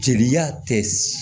Jeliya tɛ